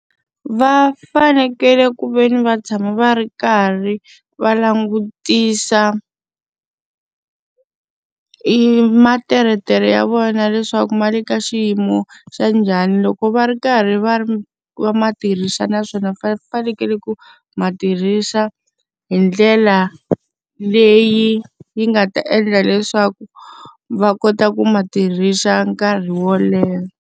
Va fanekele ku ve ni va tshama va ri karhi va langutisa materetere ya vona leswaku ma le ka xiyimo xa njhani. Loko va ri karhi va ri va ma tirhisa naswona fanekele ku ma tirhisa hi ndlela leyi yi nga ta endla leswaku va kota ku ma tirhisa nkarhi wo leha.